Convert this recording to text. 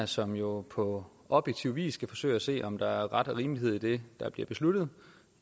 som jo på objektiv vis skal forsøge at se om der er ret og rimelighed i det der bliver besluttet